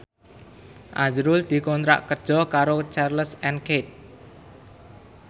azrul dikontrak kerja karo Charles and Keith